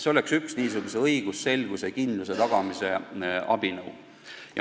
See oleks üks õigusselgust ja -kindlust tagav abinõu.